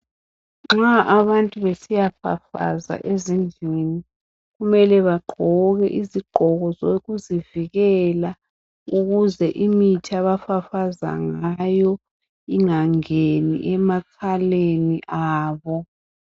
Nxa abantu besiya fafaza ezindlini, kumele bagqoke izigqoko zokuzivikela ukuze imithi abafafaza ngayo ingangeni emakhaleni abo.